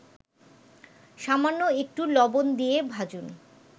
সামান্য একটু লবণ দিয়ে ভাজুন